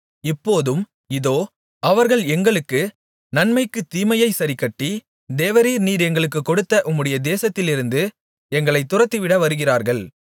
இப்போதும் இதோ அவர்கள் எங்களுக்கு நன்மைக்குத் தீமையைச் சரிக்கட்டி தேவரீர் நீர் எங்களுக்குக் கொடுத்த உம்முடைய தேசத்திலிருந்து எங்களைத் துரத்திவிட வருகிறார்கள்